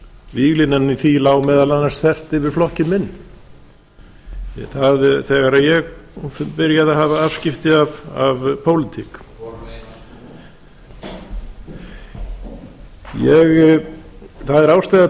víglínan í því lá meðal annars þvert yfir flokkinn minn þegar ég byrjaði að hafa afskipti af pólitík það er ástæða